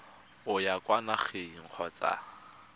o ya kwa nageng kgotsa